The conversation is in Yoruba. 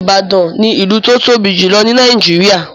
Ìbàdàn ni ìlú tó tóbi jùlọ ní Nàìjíríà